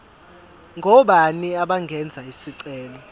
ngobani abangenza isicelo